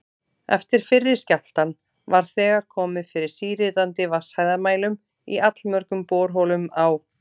Eftir fyrri skjálftann var þegar komið fyrir síritandi vatnshæðarmælum í allmörgum borholum á